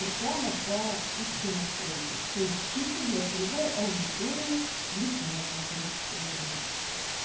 это реклама по узкой настройке то есть чисто для целевой аудитории литнета зарегистрированных